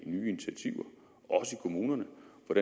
kommunerne